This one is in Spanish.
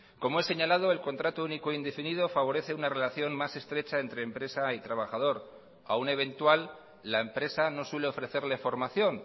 como he señalado el contrato único indefinido favorece una relación más estrecha entre empresa y trabajador a un eventual la empresa no suele ofrecerle formación